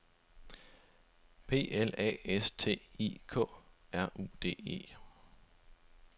P L A S T I K R U D E